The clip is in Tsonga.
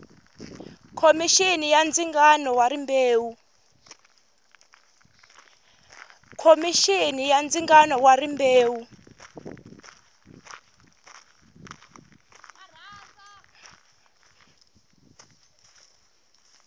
khomixini ya ndzingano wa rimbewu